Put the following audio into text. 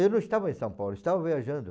Eu não estava em São Paulo, estava viajando.